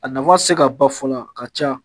A nafa te se ka ba fɔla a ka ca